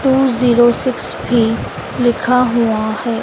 To zero six भी लिखा हुआ है।